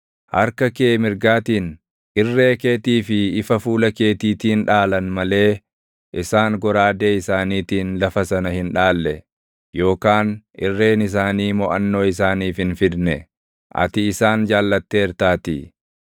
Harka kee mirgaatiin, irree keetii fi ifa fuula keetiitiin dhaalan malee isaan goraadee isaaniitiin lafa sana hin dhaalle; yookaan irreen isaanii moʼannoo isaaniif hin fidne; ati isaan jaallatteertaatii.